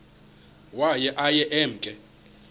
waye aye emke